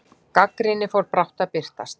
Gagnrýni fór brátt að birtast.